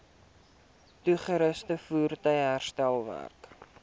toerusting voertuie herstelwerk